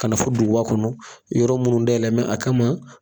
Ka na fɔ duguba kɔnɔ, yɔrɔ minnu da yɛlɛlen don a kama